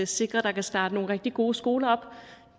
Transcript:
sikre at der kan starte nogle rigtig gode skoler op